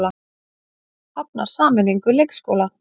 Hafnar sameiningu leikskóla